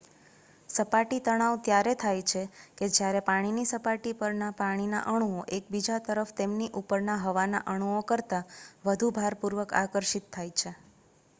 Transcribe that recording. સપાટી તણાવ ત્યારે થાય છે કે જ્યારે પાણીની સપાટી પરના પાણીના અણુઓ એકબીજા તરફ તેમની ઉપરના હવાના અણુઓ કરતા વધુ ભારપૂર્વક આકર્ષિત થાય છે